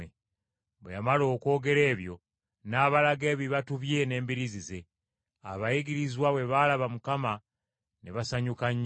Bwe yamala okwogera ebyo n’abalaga ebibatu bye n’embiriizi ze. Abayigirizwa bwe baalaba Mukama ne basanyuka nnyo.